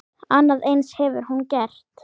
Annað eins hefur hún gert.